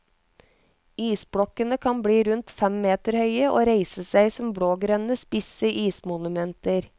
Isblokkene kan bli rundt fem meter høye og reiser seg som blågrønne, spisse ismonumenter.